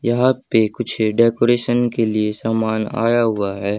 यहां पे कुछ डेकोरेशन के लिए सामान आया हुआ है।